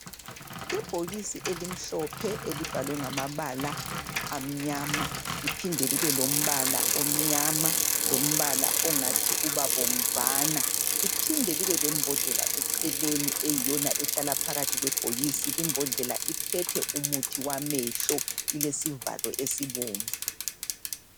Ibhokisi elimhlophe elibhalwe ngamabala amnyama liphinde libe lombala omnyama lombala ongathi uba bomvana liphinde libe lembodlela eceleni eyiyona ehlala phakathi kwebhokisi Limbodlela iphethe umuthi wamehlo ilesivalo esibomvu